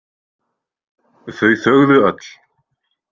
Þau þögðu öll.